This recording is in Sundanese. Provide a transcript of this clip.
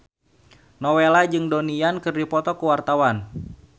Nowela jeung Donnie Yan keur dipoto ku wartawan